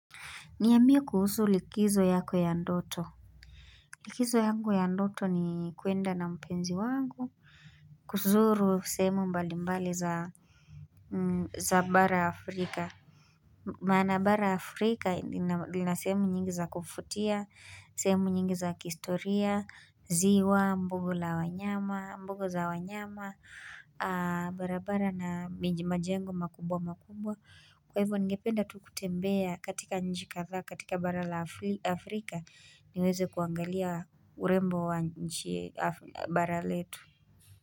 Niambie kuhusu likizo yako ya ndoto Likizo yangu ya ndoto ni kuenda na mpenzi wangu kuzuru sehemu mbali mbali za za bara Afrika Maana bara Afrika lina sehemu nyingi za kufutia, sehemu nyingi za kihistoria, ziwa, buga la wanyama, buga za wanyama barabara na majengo makubwa makubwa Kwa hivyo ningependa tu kutembea katika nchi kadhaa katika bara la Afrika niweze kuangalia urembo wa nchi bara letu.